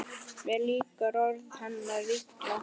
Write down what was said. Mér líka orð hennar illa: